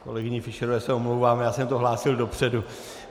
Kolegyni Fischerové se omlouvám, já jsem to hlásil dopředu.